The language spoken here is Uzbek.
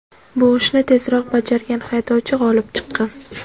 Bu ishni tezroq bajargan haydovchi g‘olib chiqqan.